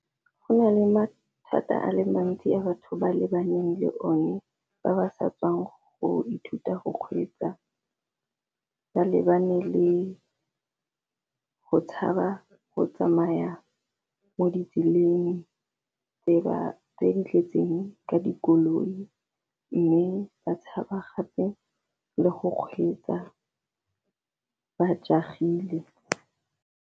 Go na le mathata a le mantsi a batho ba lebaneng le one ba ba sa tswang go ithuta go kgweetsa, ba lebane le go tshaba go tsamaya mo ditseleng tse di tletseng ka dikoloi mme ba tshaba gape le go kgweetsa ba jaag-ile.